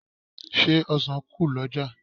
Ṣé ọ̀sàn kù lọ́jà?